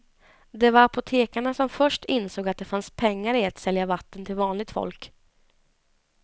Det var apotekarna som först insåg att det fanns pengar i att sälja vatten till vanligt folk.